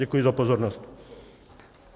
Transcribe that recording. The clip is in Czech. Děkuji za pozornost.